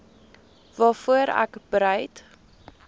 waarvoor ek bereid